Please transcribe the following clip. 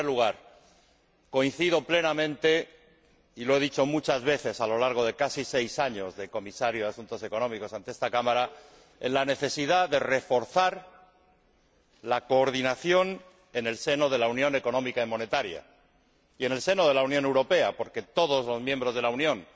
En primer lugar, coincido plenamente —y lo he dicho muchas veces ante esta Cámara a lo largo de casi seis años como Comisario de Asuntos Económicos y Monetarios— en la necesidad de reforzar la coordinación en el seno de la Unión Económica y Monetaria y en el seno de la Unión Europea, porque todos los miembros de la Unión